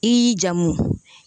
I jamu